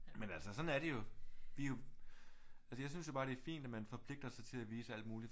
Men altså sådan er det jo vi er jo altså jeg synes jo bare det er fint at man forpligter sig til at vise alt muligt